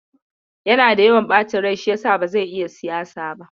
Yana da yawan ɓacin rai shi yasa ba zai iya siyasa ba.